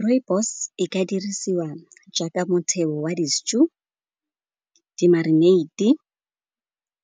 Rooibos e ka dirisiwa jaaka motheo wa di-stew, di-marinade-e